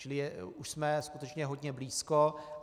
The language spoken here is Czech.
Čili už jsme skutečně hodně blízko.